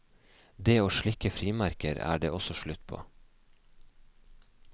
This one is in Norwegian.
Det å slikke frimerker er det også slutt på.